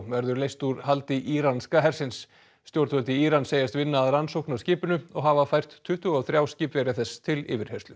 verður leyst úr haldi íranska hersins stjórnvöld í Íran segjast vinna að rannsókn á skipinu og hafa fært tuttugu og þrjá skipverja þess til yfirheyrslu